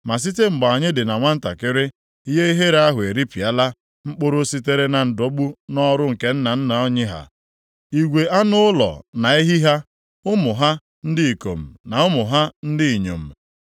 Ma site mgbe anyị dị na nwantakịrị, ihe ihere ahụ eripịala mkpụrụ sitere na ndọgbu nʼọrụ nke nna nna anyị ha igwe anụ ụlọ na ehi ha, ụmụ ha ndị ikom na ụmụ ha ndị inyom.